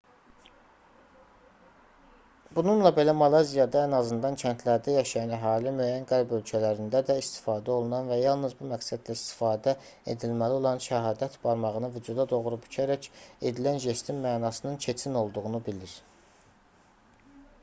bununla belə malayziyada ən azından kəndlərdə yaşayan əhali müəyyən qərb ölkələrində də istifadə olunan və yalnız bu məqsədlə istifadə edilməli olan şəhadət barmağını vücuda doğru bükərək edilən jestin mənasının keçin olduğunu bilir